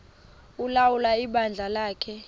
ulawula ibandla lakhe